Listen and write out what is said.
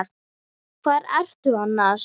Hvar ertu annars?